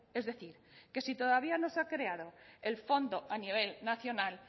es decir que si todavía no se ha creado el fondo a nivel nacional